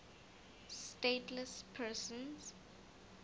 stateless persons